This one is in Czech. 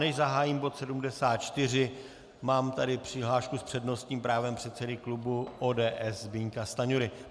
Než zahájím bod 74, mám tady přihlášku s přednostním právem předsedy klubu ODS Zbyňka Stanjury.